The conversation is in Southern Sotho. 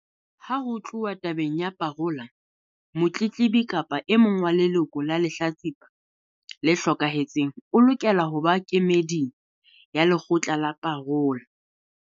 Ha ho tluwa tabeng ya parola, motletlebi kapa e mong wa leloko la lehlatsipa le hlokahetseng o lokela ho ba kemeding ya lekgotla la parola.